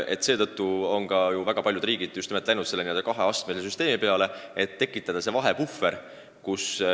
Just seetõttu on paljud riigid valinud selle kaheastmelise süsteemi, et tekitada see vahepuhver.